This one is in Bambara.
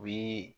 U bi